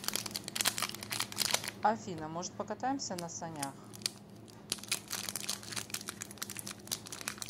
афина может покатаемся на санях